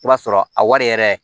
I b'a sɔrɔ a wari yɛrɛ